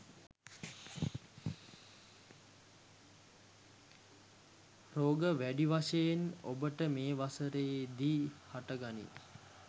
රෝග වැඩි වශයෙන් ඔබට මේ වසරේදි හට ගනී.